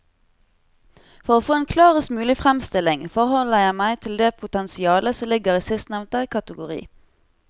For å få en klarest mulig fremstilling forholder jeg meg til det potensialet som ligger i sistnevnte kategori.